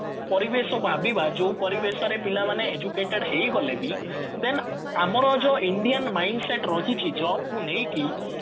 ପରିବେଶ ଭାବିବା ଯୋଉ ପରିବେଶରେ ପିଲାମାନେ educated ହେଇଗଲେ ବି then ଆମର ଯୋଉ indian mind set ରହିଚି jobକୁ ନେଇକି